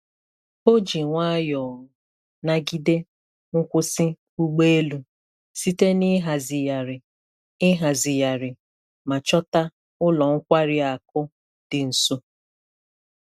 O ji nwayọọ nagide nkwụsị ụgbọ elu site na ịhazigharị ịhazigharị ma chọta ụlọ nkwari akụ dị nso.